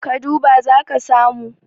ka duba za ka samu